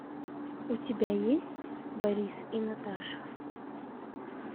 у тебя есть борис и наташа